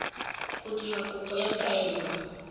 go dira kopo ya kaelo